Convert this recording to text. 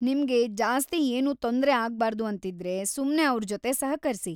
ನಿಮ್ಗೆ ಜಾಸ್ತಿ ಏನೂ ತೊಂದ್ರೆ ಆಗ್ಬಾರ್ದು ಅಂತಿದ್ರೆ ಸುಮ್ನೆ ಅವ್ರ್‌ ಜೊತೆ ಸಹಕರ್ಸಿ‌.